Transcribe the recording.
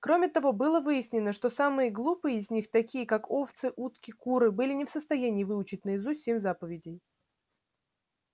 кроме того было выяснено что самые глупые из них такие как овцы утки куры были не в состоянии выучить наизусть семь заповедей